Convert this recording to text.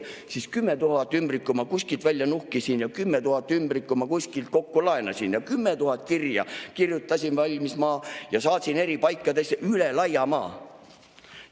Siis 10 000 ümbrikku ma kuskilt välja nuhkisin ja 10 000 ümbrikku ma kuskilt kokku laenasin ja 10 000 kirja kirjutasin valmis ma ja saatsin eri paikadesse üle laia maa.